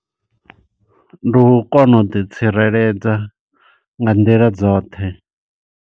Ndi u kona u ḓi tsireledza, nga nḓila dzoṱhe.